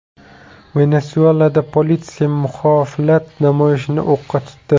Venesuelada politsiya muxolifat namoyishini o‘qqa tutdi.